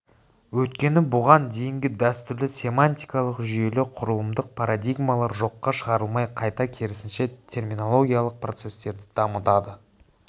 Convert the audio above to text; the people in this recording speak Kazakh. өйткені бұған дейінгі дәстүрлі семантикалық жүйелі құрылымдық парадигмалар жоққа шығарылмай қайта керісінше терминологиялық процестерді дамытады